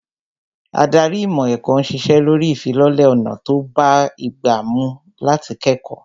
Ádárì ìmọ̀ ẹ̀kọ́ ń ṣiṣẹ́ lórí ìfilọ́lẹ̀ ọ̀nà tó bá ìgbà mú láti kẹ́kọ̀ọ́